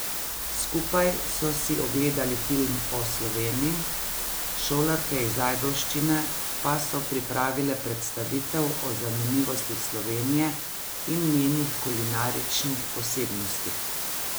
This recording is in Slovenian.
Skupaj so si ogledali film o Sloveniji, šolarke iz Ajdovščine pa so pripravile predstavitev o zanimivostih Slovenije in njenih kulinaričnih posebnostih.